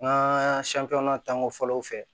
N ka tanko fɔlɔw fɛ